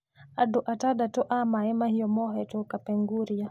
Andũ atandatũ a Mau Mau mohetwo Kapwnguria.